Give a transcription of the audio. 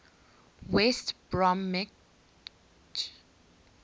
west bromwich albion